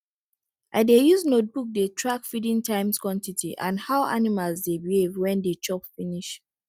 i dey use notebook dey track feeding times quantity and how animals dey behave when dey chop finish